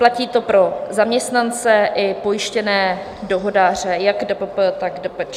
Platí to pro zaměstnance i pojištěné dohodáře, jak DPP, tak DPČ.